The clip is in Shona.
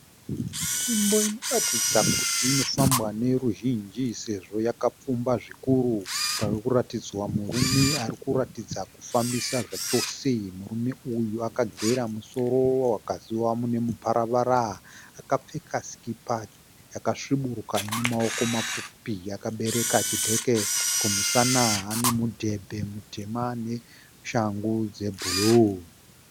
Nzvimbo inoratidza kuti inofambwa neveruzhinji sezvo yakapfumba zvikuru. Parikuratidzwa murume ari kuratidza kufambisa zvachose. Murume uyu akagera musoro wakasiiwa mune muparavara. Akapfeka sikipa yakasviburuka ine maoko mapfupi. Akabereka chibheke kumusana. Ane mudhebhe mutema neshangu dzebhuruu.